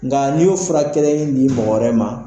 Nka n'i y'o fura kɛlen ni mɔgɔ wɛrɛ ma